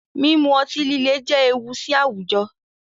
Mímú ọ̀tí-lílẹ̀ jẹ́ èwù sí àwújọ̀